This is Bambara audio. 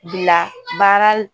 Bila baara